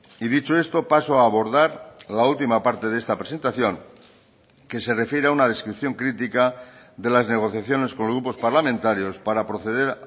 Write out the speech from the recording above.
y dicho esto paso a abordar la última parte de esta presentación que se refiere a una descripción crítica de las negociaciones con los grupos parlamentarios para proceder